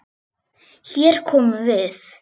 Hér komum við!